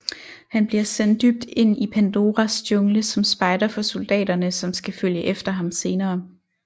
Han bliver sendt dybt ind i Pandoras jungle som spejder for soldaterne som skal følge efter ham senere